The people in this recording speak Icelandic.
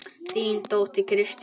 Þín dóttir, Kristín Jórunn.